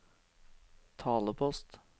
talepost